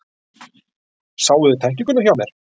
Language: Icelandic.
Sáuði tæklinguna hjá mér?